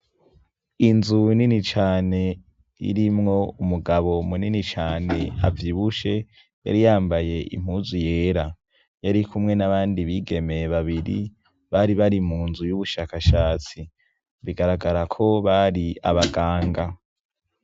Inzu winini cane ririmwo umugabo munini cane avy ibushe yari yambaye impuzu yera yari kumwe n'abandi bigemeye babiri bari bari mu nzu y'ubushakashatsi bigaragara ko bari abaganga.